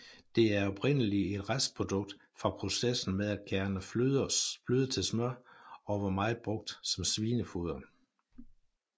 Det er oprindelig et restprodukt fra processen med at kærne fløde til smør og var meget brugt som svinefoder